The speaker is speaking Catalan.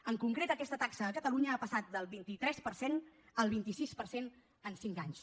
en concret aquesta taxa a catalunya ha passat del vint tres per cent al vint sis per cent en cinc anys